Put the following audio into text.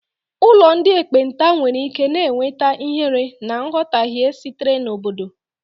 Ụlọ ndị ekpenta nwere ike na-enweta ihere na nghọtahie sitere n'obodo.